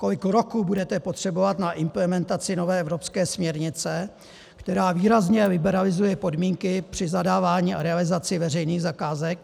Kolik roků budete potřebovat na implementaci nové evropské směrnice, která výrazně liberalizuje podmínky při zadávání a realizaci veřejných zakázek?